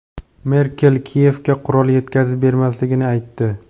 Merkel Kiyevga qurol yetkazib bermasligini aytdi.